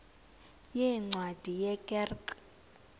yeencwadi ye kerk